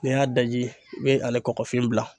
N'i y'a daji i bɛ ale kɔkɔfin bila